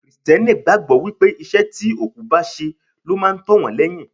Kristẹni gbàgbọ́ wípé iṣẹ́ tí òkú bá ṣe ló máa tó wọn lẹ́yìn.